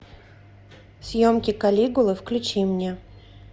съемки калигулы включи мне